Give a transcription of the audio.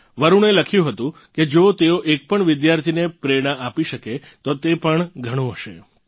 વરુણે લખ્યું હતું કે જો તેઓ એક પણ વિદ્યાર્થીને પ્રેરણા આપી શકે તો તે પણ ઘણું હશે